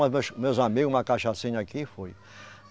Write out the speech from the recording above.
Meus, meus amigo, uma cachaçinha aqui e fui.